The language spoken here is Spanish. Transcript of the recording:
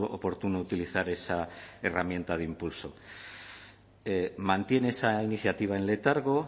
oportuno utilizar esa herramienta de impulso mantiene esa iniciativa en letargo